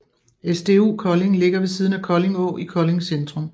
SDU Kolding ligger ved siden af Kolding Å i Kolding centrum